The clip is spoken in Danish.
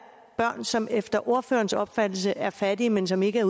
børn som efter ordførerens opfattelse er fattige men som ikke